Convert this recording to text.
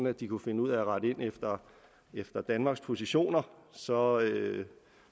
at de kunne finde ud af at rette ind efter danmarks positioner så